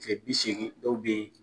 Kile bi segin dɔw be yen